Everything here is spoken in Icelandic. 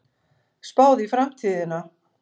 Spáð í framtíðina